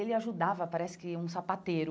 Ele ajudava, parece que um sapateiro.